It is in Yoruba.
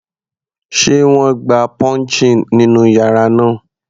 Sé wọ́n gba pouching nínú yàrá náà?.